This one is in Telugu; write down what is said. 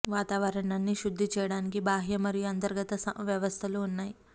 వాతావరణాన్ని శుద్ధి చేయడానికి బాహ్య మరియు అంతర్గత వ్యవస్థలు ఉన్నాయి